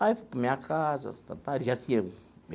Aí, fui para a minha casa.